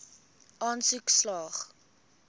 aansoek slaag